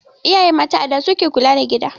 Iyaye mata a da su ke kula da gida